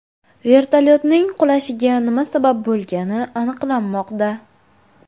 Vertolyotning qulashiga nima sabab bo‘lgani aniqlanmoqda.